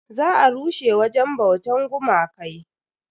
Za a rushe wajen bautan gumakai.